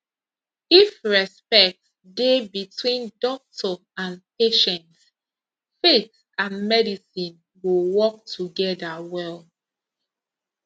if respect dey between doctor and patient faith and medicine go work together well